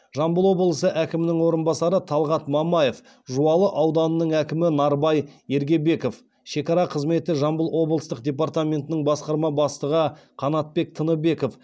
жамбыл облысы әкімінің орынбасары талғат мамаев жуалы ауданының әкімі нарбай ергебеков шекара қызметі жамбыл облыстық департаментінің басқарма бастығы қанатбек тыныбеков